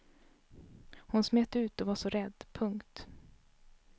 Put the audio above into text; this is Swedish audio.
Hon smet ut och var så rädd. punkt